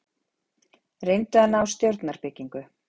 Reyndu að ná stjórnarbyggingu